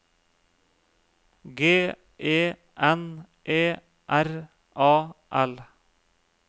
G E N E R A L